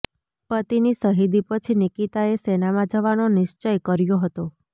પતિની શહીદી પછી નિકિતાએ સેનામાં જવાનો નિશ્ચય કર્યો હતો